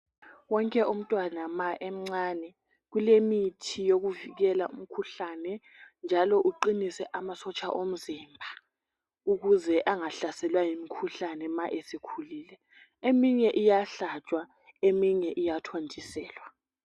Wonke umntwana ma emncane kulemithi yokuvikela umkhuhlane njalo uqinise amasotsha omzimba ukuze angahlaselwa yimikhuhlane ma esekhulile. Eminye iyahlatshwa eminye iyathontiselwa.